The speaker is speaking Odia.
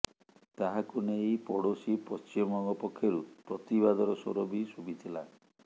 ତାହାକୁ ନେଇ ପଡ଼ୋଶୀ ପଶ୍ଚିମବଙ୍ଗ ପକ୍ଷରୁ ପ୍ରତିବାଦର ସ୍ୱର ବି ଶୁଭିଥିଲା